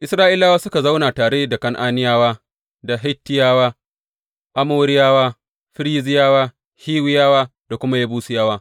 Isra’ilawa suka zauna tare da Kan’aniyawa da Hittiyawa, Amoriyawa, Ferizziyawa, Hiwiyawa da kuma Yebusiyawa.